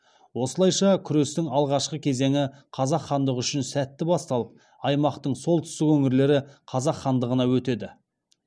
осылайша күрестің алғашқы кезеңі қазақ хандығы үшін сәтті басталып аймақтың солтүстік өңірлері қазақ хандығына өтеді